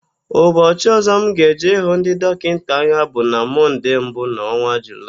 Ụbọchị ọ̀zọ́ m ga-eje ịhụ ndị dọkịta anya bụ na Mọnde mbụ n'ọnwa Julaị.